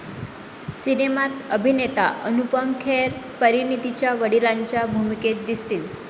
सिनेमात अभिनेता अनुपम खेर परिणितीच्या वडिलांच्या भूमिकेत दिसतील.